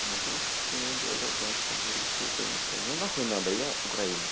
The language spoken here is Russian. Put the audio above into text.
могу иметь два гражданства и русское и украинское но нахуй надо я украинец